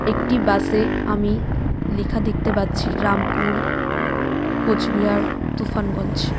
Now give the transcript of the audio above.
একটি বাসে আমি লেখা দেখতে পাচ্ছি রামপুর কোচবিহার তুফানগঞ্জ